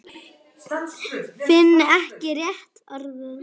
Finn ekki rétta orðið.